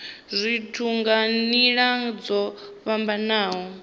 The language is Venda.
zwithu nga nila dzo fhambanaho